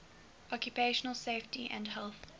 occupational safety and health